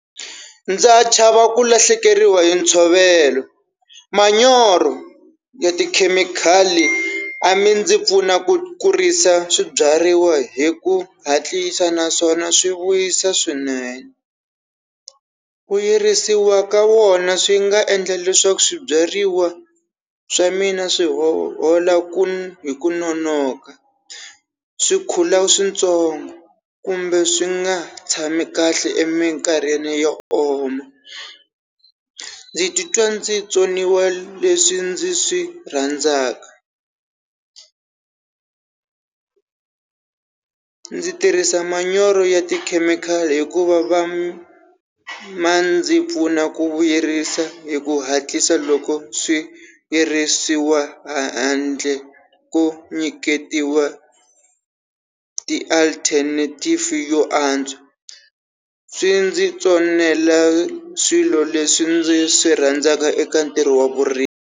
Ndza chava ku lahlekeriwa hi ntshovelo, manyoro ya tikhemikhali a mi ndzi pfuna ku kurisa swibyariwa hi ku hatlisa naswona swi vuyisa swinene. Ku yirisiwa ka wona swi nga endla leswaku swibyariwa swa mina swi hola hi ku nonoka, swikhukhula swintsongo kumbe swi nga tshami kahle eminkarhini yo oma. Ndzi titwa ndzi tsoniwa leswi ndzi swi rhandzaka, ndzi tirhisa manyoro ya tikhemikhali hikuva ma ndzi pfuna ku vuyerisa hi ku hatlisa loko swi herisiwa handle ku nyiketiwa ti-alternative yo antswa swi ndzi tsonela swilo leswi ndzi swi rhandzaka eka ntirho wa vurimi.